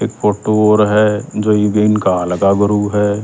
एक फोटू और ह जो इब इनका हाल का गुरु ह।